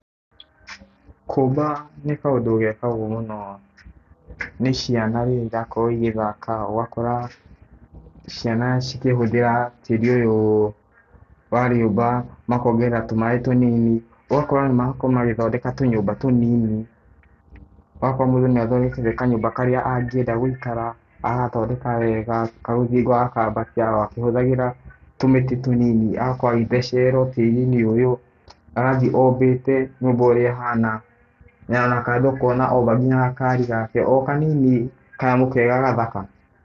Kũmba nĩ kaũndũ gekagwo mũno nĩ ciana rĩrĩa irakorwo igĩthaka, ũgakora ciana cikĩhũthĩra tĩri ũyũ wa rĩũmba makongerera tũmaĩ tũnini. Ũgakora nĩmakorwo magĩthondeka tũnyũmba tũnini. Ũgakora mũndũ nĩathondekete kanyũmba karĩa angĩenda gũikara, agagathondeka wega. Karũthingo agakambatia o akĩhũthagĩra tũmĩtĩ tũnini. Agakorwo o agĩthecerera tĩri-inĩ ũyũ, agathiĩ ombĩte nyũmba ũrĩa ĩhana, na kando ũkona omba kinya gakari gake, o kanini kanyamũ kega gathaka.